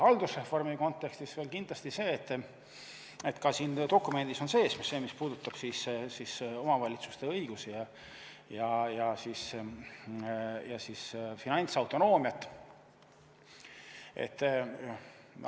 Haldusreformi kontekstis veel kindlasti see, et ka siin dokumendis on sees see, mis puudutab omavalitsuste õigusi ja finantsautonoomiat.